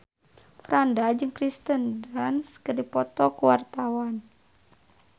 Franda jeung Kirsten Dunst keur dipoto ku wartawan